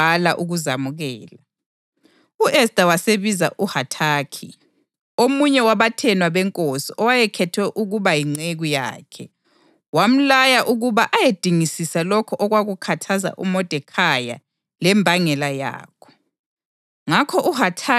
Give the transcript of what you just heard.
U-Esta wasebiza uHathakhi, omunye wabathenwa benkosi owayekhethwe ukuba yinceku yakhe, wamlaya ukuba ayedingisisa lokho okwakukhathaza uModekhayi lembangela yakho.